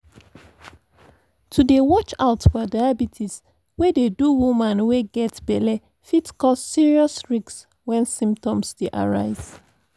to dey watch out for diabetes wey dey do woman wey get belle fit cause serious risks wen symptoms dey arise